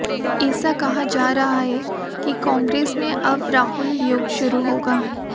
ऐसा कहा जा रहा है कि कांग्रेस में अब राहुल युग शुरू होगा